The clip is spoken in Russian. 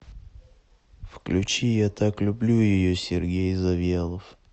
включи я так люблю ее сергей завьялов